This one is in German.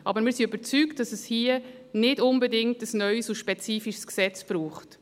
Aber wir sind überzeugt, dass es hier nicht unbedingt ein neues und spezifisches Gesetz braucht.